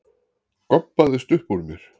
goppaðist uppúr mér.